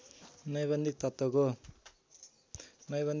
नैबन्धिक तत्त्वको